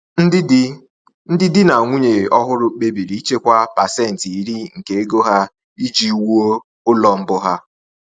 Ndị di Ndị di na nwunye ọhụrụ kpebiri ichekwa 10% nke ego ha iji wuo ụlọ mbụ ha.